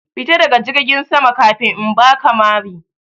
Fita daga jirgin sama kafin in baka mari!